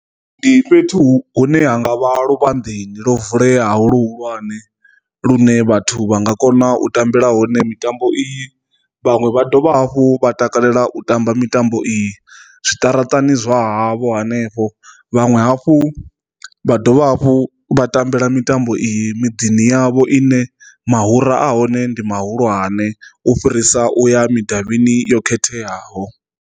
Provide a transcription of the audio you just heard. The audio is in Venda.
Ndi fhethu hune ha nga vha luvhanḓeni ḽo vulea hu luhulwane lune vhathu vhanga kona u tambela hone mitambo i vhaṅwe vha dovha hafhu vha takalela u tamba mitambo i zwiṱaraṱani zwa havho hanefho. Vhanwe hafhu vha dovha hafhu vha tambela mitambo i miḓini yavho i ne muhura a hone ndi muhulwane u fhirisa u ya mudavhini yo khetheaho.